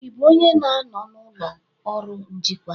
Ị bụ onye na-anọ n'ụlọ ọrụ njikwa?